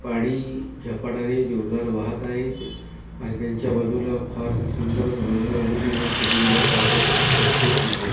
पाणी झपाटाने जोरदार वाहत आहे आणि त्यांच्या बाजूला फारस सुंदर रंग रंगोटी ने सजवलेला पार्क अतिशय सुंदर --